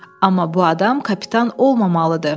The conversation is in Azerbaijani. Amma bu adam kapitan olmamalıdır.